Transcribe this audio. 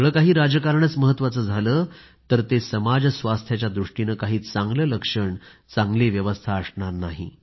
सगळं काही राजकारणच झालं तर ते समाज स्वास्थ्याच्या दृष्टीने काही चांगलं लक्षण चांगली व्यवस्था असणार नाही